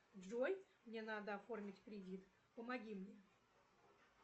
джой мне надо оформить кредит помоги мне